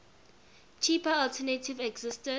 cheaper alternative existed